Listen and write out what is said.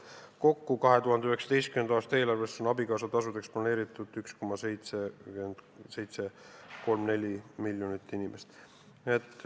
Kokku on 2019. aasta eelarves abikaasatasuks planeeritud 1,734 miljonit.